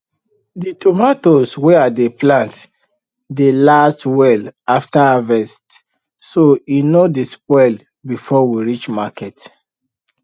the tomato wey i dey plant dey last well after harvest so e no dey spoil before we reach market